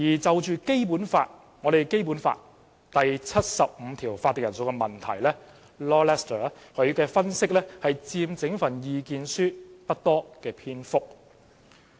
就《基本法》第七十五條有關法定人數的問題 ，Lord LESTER 所作的分析佔整份意見書不多篇幅。